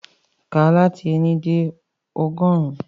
Ka lati éni de ọgọrun!